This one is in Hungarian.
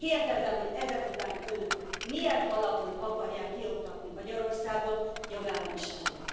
Kérdezem, hogy ezek után Önök milyen alapon akarják kioktatni Magyarországot jogállamiságból?